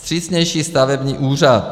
Vstřícnější stavební úřad.